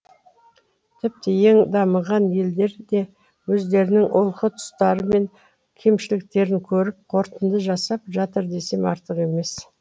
тіпті ең дамыған елдер де өздерінің олқы тұстары мен кемшіліктерін көріп қорытынды жасап жатыр десем артық емес